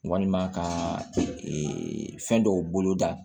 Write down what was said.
Walima ka ee fɛn dɔw bolo da